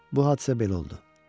Bu hadisə belə oldu.